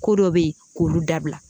Ko dɔ be yen k'olu dabila